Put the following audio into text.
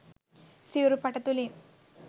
සිවුරු පට තුළින්